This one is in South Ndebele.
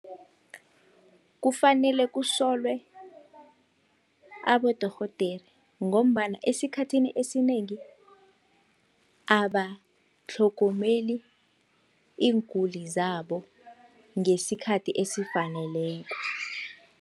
Kufanele kusolwe abodorhodere, ngombana esikhathini esinengi abatlhogomeli iinguli zabo ngesikhathi esifaneleko.